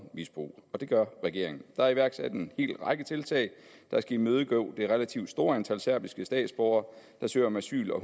misbrug og det gør regeringen der er iværksat en hel række tiltag der skal imødegå det relativt store antal serbiske statsborgere der søger om asyl og